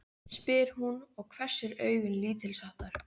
spyr hún og hvessir augun lítilsháttar.